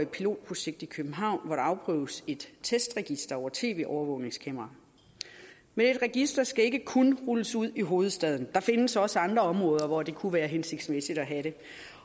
pilotprojekt i københavn hvor der afprøves et testregister over tv overvågningskameraer men et register skal ikke kun rulles ud i hovedstaden der findes også andre områder hvor det kunne være hensigtsmæssigt at have det